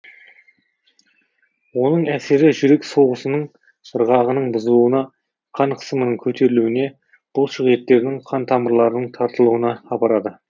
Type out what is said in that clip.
оның әсері жүрек соғысының ырғағының бұзылуына қан қысымының көтерілуіне бұлшық еттердің қан тамырларының тартылуына апарады